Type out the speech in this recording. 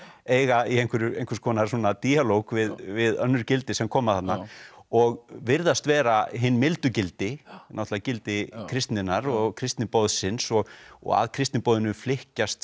eiga í einhvers konar díalóg við við önnur gildi sem koma þarna og virðast vera hin mildu gildi náttúrulega gildi kristninnar og kristniboðsins og og að kristniboðinu flykkjast